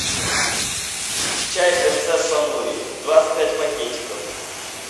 чай принцесса нури двадцать пять пакетиков